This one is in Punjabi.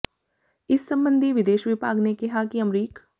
ਇਸ ਸੰਬੰਧੀ ਵਿਦੇਸ਼ ਵਿਭਾਗ ਨੇ ਕਿਹਾ ਹੈ ਕਿ ਅਮਰੀਕ